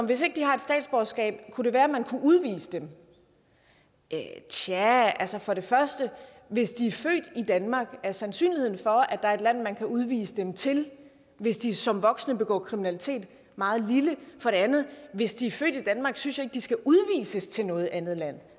hvis ikke de har et statsborgerskab kunne det være man kunne udvise dem tja altså for det første hvis de er født i danmark er sandsynligheden for at der er et land man kan udvise dem til hvis de som voksne begår kriminalitet meget lille og for det andet hvis de er født i danmark synes jeg ikke at de skal udvises til noget andet land